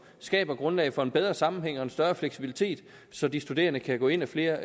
skaber grundlag for en bedre sammenhæng og en større fleksibilitet så de studerende kan gå ind ad flere